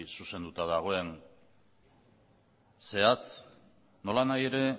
zuzenduta dagoen zehatz nolanahi ere